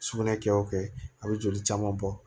Sugunɛ kɛ o kɛ a bɛ joli caman bɔ